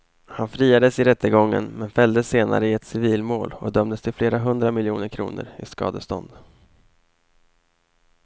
Han friades i rättegången men fälldes senare i ett civilmål och dömdes till flera hundra miljoner kronor i skadestånd.